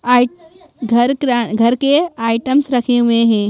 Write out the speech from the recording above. आई घर घर के आइटम्स रखे हुए हैं।